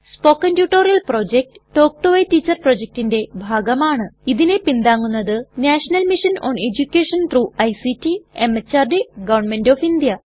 spoken tutorial project talk to a teacher പ്രൊജക്റ്റിന്റെ ഭാഗമാണ് ഇതിനെ പിന്താങ്ങുന്നത് national mission on education through ICT MHRD govt of India